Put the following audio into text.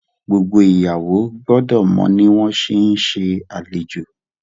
gbogbo ìyàwó gbódò mọ ní wón ṣe nse alejò